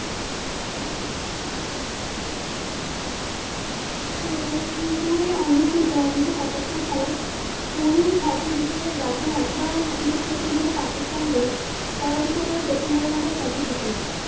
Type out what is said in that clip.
কুয়ালালুমপুরে অনুষ্ঠিত উনিশশো পঁচাত্তর সালে পুরুষ hockey বিশ্বকাপে জাতীয় hockey দল চিরপ্রতিদ্বন্দী Pakistan কে পরাজিত করে প্রথমবারের মতো trophy জিতে নেয়।